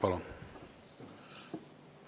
Palun!